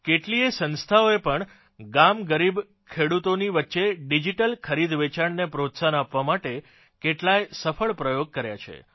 કેટલીય સંસ્થાઓએ પણ ગામ ગરીબ ખેડૂતોની વચ્ચે ડિજીટલ ખરીદવેચાણને પ્રોત્સાહન આપવા માટે કેટલાય સફળ પ્રયોગ કર્યા છે